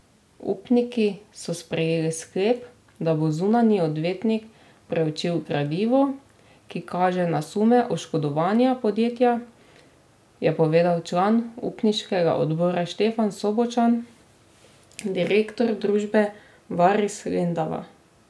Upniki so sprejeli sklep, da bo zunanji odvetnik preučil gradivo, ki kaže na sume oškodovanja podjetja, je povedal član upniškega odbora Štefan Sobočan, direktor družbe Varis Lendava.